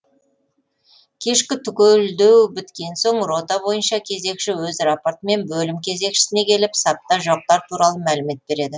кешкі түгелдеу біткен соң рота бойынша кезекші өз рапортымен бөлім кезекшісіне келіп сапта жоқтар туралы мәлімет береді